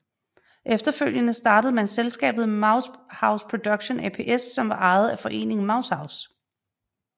Efterfølgende startede man selskabet mousehouseProduction ApS som var ejet af Foreningen Mousehouse